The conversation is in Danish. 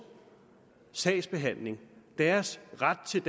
sagsbehandling og deres ret til